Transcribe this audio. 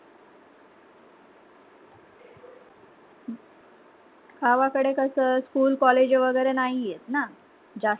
गावा कडे कस school college वगैरे नाहीयेत ना जास्त